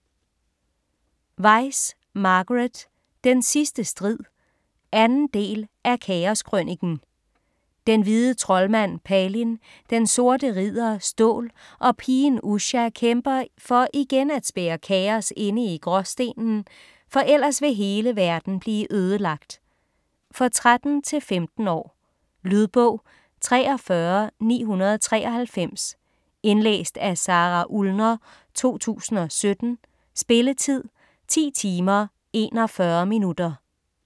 Weis, Margaret: Den sidste strid 2. del af Kaos krøniken. Den hvide troldmand Palin, den sorte ridder Stål og pigen Usha kæmper for igen at spærre Kaos inde i Gråstenen, for ellers vil hele verden blive ødelagt. For 13-15 år. Lydbog 43993 Indlæst af Sara Ullner, 2017. Spilletid: 10 timer, 41 minutter.